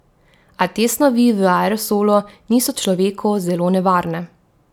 A te snovi v aerosolu niso človeku zelo nevarne.